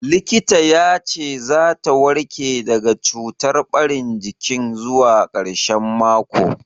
Likita ya ce za ta warke daga cutar ɓarin jikin zuwa ƙarshen mako.